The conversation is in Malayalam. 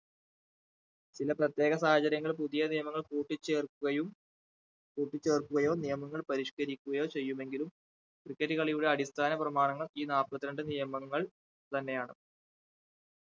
പിന്നെ പ്രത്യേക സാഹചര്യങ്ങളിൽ പുതിയ നിയമങ്ങൾ കൂട്ടി ചേർക്കുകയും കൂട്ടി ചേർക്കുകയോ നിയമങ്ങൾ പരിഷ്കരിക്കുകയോ ചെയ്യുമെങ്കിലും cricket കളിയുടെ അടിസ്ഥാന പ്രമാണങ്ങൾ ഈ നാപ്പത്തിരണ്ട്‍ നിയമങ്ങൾ തന്നെയാണ്